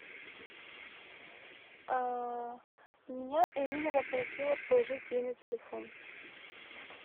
а меня ирина попросила положить ей на телефон